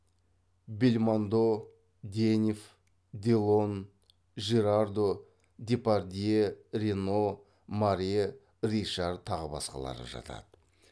бельмондо денев делон жирардо депардье рено маре ришар тағы басқалары жатады